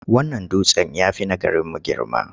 Wannan dutsen ya fi na garimu girma.